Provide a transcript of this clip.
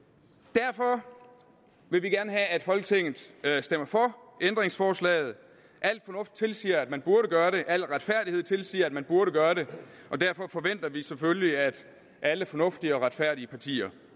derfor vil vi gerne have at folketinget stemmer for ændringsforslaget al fornuft tilsiger at man burde gøre det al retfærdighed tilsiger at man burde gøre det og derfor forventer vi selvfølgelig at alle fornuftige og retfærdige partier